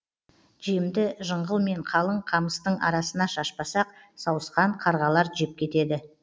жемді жыңғыл мен қалың қамыстың арасына шашпасақ сауысқан қарғалар жеп кетеді